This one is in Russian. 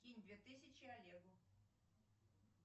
кинь две тысячи олегу